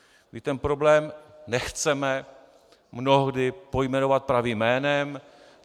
My ten problém nechceme mnohdy pojmenovat pravým jménem.